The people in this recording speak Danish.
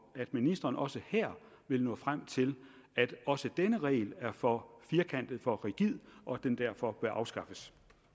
at ministeren også her vil nå frem til at også denne regel er for firkantet for rigid og at den derfor bør afskaffes